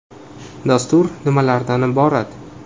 Dastur nimalardan iborat?